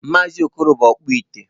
Maazị okoro bụ ọkpụite